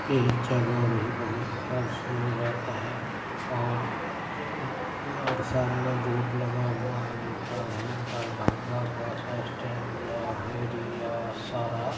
ये जगह भी बहुत खबसूरत है और ज ज और सामने बोर्ड लगा हुआ है लिखा हुआ है दरभंगा बस स्टैन्ड लहरियासराय।